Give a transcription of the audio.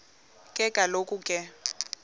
ke kaloku ke